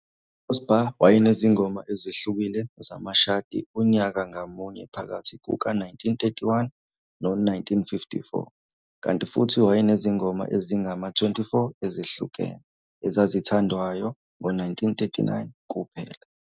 UCrosby wayenezingoma ezihlukile zamashadi unyaka ngamunye phakathi kuka-1931 no-1954, kanti futhi wayenezingoma ezingama-24 ezihlukene ezazithandwayo ngo-1939 kuphela.